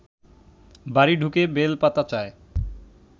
বাড়ি ঢুকে বেলপাতা চায়